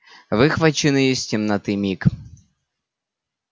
выхваченный из темноты миг